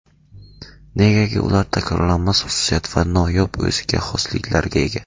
Negaki ular takrorlanmas xususiyat va noyob o‘ziga xosliklarga ega.